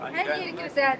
Hər yer gözəldir.